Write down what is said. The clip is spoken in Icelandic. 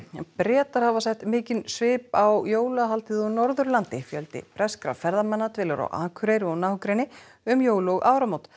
Bretar hafa sett mikinn svip á jólahaldið á Norðurlandi fjöldi breskra ferðamanna dvelur á Akureyri og nágrenni um jól og áramót